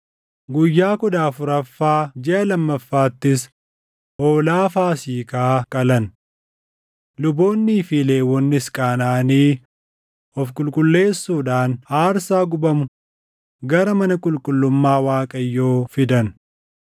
Guyyaa kudha afuraffaa jiʼa lammaffaattis hoolaa Faasiikaa qalan. Luboonnii fi Lewwonnis qaanaʼanii of qulqulleessuudhaan aarsaa gubamu gara mana qulqullummaa Waaqayyoo fidan.